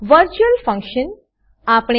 virtual function virtual function